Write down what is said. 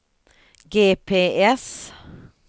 GPS